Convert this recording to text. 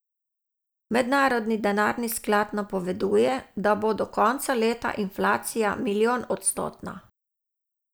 Mednarodni denarni sklad napoveduje, da bo do konca leta inflacija milijonodstotna.